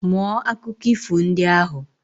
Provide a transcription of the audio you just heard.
Mụọ akụkọ ifo ndị ahụ